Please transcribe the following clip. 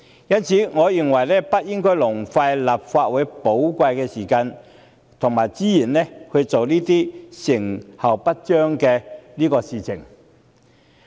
因此，我認為不應浪費立法會寶貴的時間及資源，做這些成效不彰的事情。